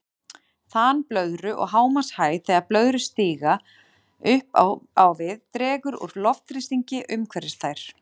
Þan blöðru og hámarkshæð Þegar blöðrur stíga upp á við dregur úr loftþrýstingi umhverfis þær.